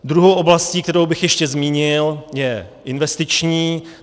Druhou oblastí, kterou bych ještě zmínil, je investiční.